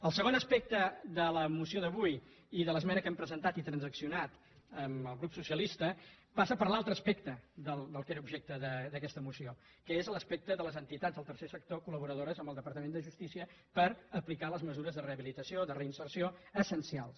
el segon aspecte de la moció d’avui i de l’esmena que hem presentat i transaccionat amb el grup socialista passa per l’altre aspecte que era objecte d’aquesta moció que és l’aspecte de les entitats del tercer sector col·laboradores amb el departament de justícia per aplicar les mesures de rehabilitació de reinserció essencials